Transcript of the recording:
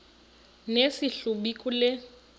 nesi hlubi kule